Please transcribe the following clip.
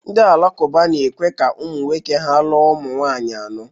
Ndị Alakụba na-ekwe ka ụmụ nwoke ha lụọ ụmụ nwanyị anọ